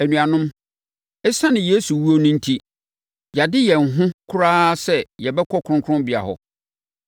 Anuanom, ɛsiane Yesu wuo no enti, yɛade yɛn ho koraa sɛ yɛbɛkɔ Kronkronbea hɔ.